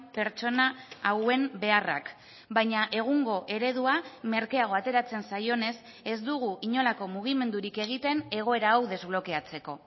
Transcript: pertsona hauen beharrak baina egungo eredua merkeago ateratzen zaionez ez dugu inolako mugimendurik egiten egoera hau desblokeatzeko